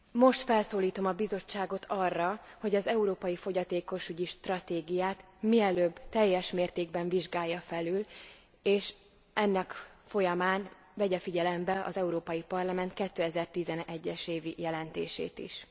Most felszólítom a Bizottságot arra, hogy az európai fogyatékosügyi stratégiát mielőbb teljes mértékben vizsgálja felül és ennek folyamán vegye figyelembe az Európai Parlament 2011 es évi jelentését is.